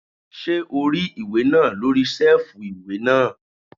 Ṣé o rí ìwé náà lórí sẹ́ẹ̀fù ìwé náà?